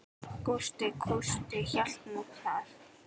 Gústi kústi hélt nú það.